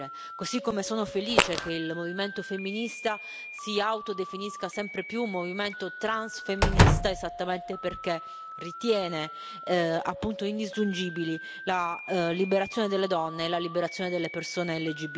Così come sono felice che il movimento femminista si autodefinisca sempre più movimento transfemminista esattamente perché ritiene appunto indisgiungibili la liberazione delle donne e la liberazione delle persone LGBTI.